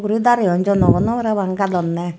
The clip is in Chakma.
ui dareyun jonogonow parapang gadonneh.